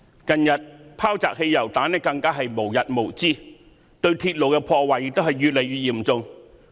近日，擲汽油彈更是無日無之，對鐵路的破壞亦越來越嚴重。